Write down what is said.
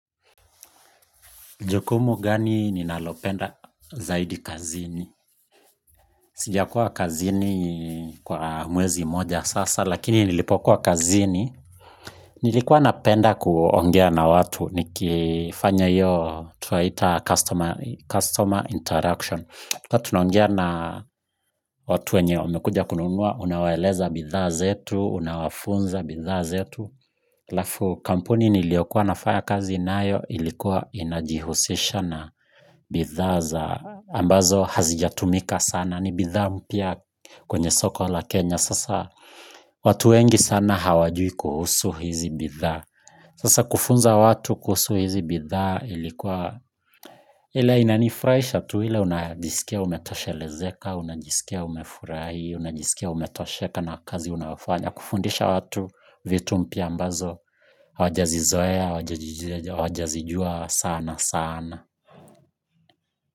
Jukumu gani ninalopenda zaidi kazini? Sijakuwa kazini kwa mwezi mmoja sasa, lakini nilipokuwa kazini. Nilikuwa napenda kuongea nikifanya hiyo customer interaction tulikuwa tunongea na watu wenye wamekuja kununua, unawaeleza bidhaa zetu, unawafunza bidhaa zetu. Alafu kampuni niliyokuwa nafanya kazi nayo ilikuwa inajihusisha na bidhaa za ambazo hazijatumika sana ni bidha mpya kwenye soko la Kenya. Sasa watu wengi sana hawajui kuhusu hizi bidhaa sasa kufunza watu kuhusu hizi bitha ilikuwa ile inanifurahisha tu ile unajisikia umetoshelezeka unjisikia umefurahi unajisikia umefurahi unajisikia umetosheka na kazi unayofanya kufundisha watu vity mpya ambazo hawajazizoea hawajazijua sana sana.